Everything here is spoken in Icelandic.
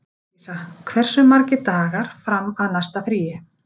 Alísa, hversu margir dagar fram að næsta fríi?